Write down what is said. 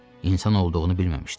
İnsan olduğunu bilməmişdi.